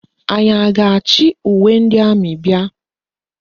Anyị a ga-achị uwe ndị amị bịa?